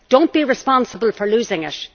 Do not be responsible for losing it.